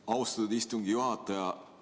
Austatud istungi juhataja!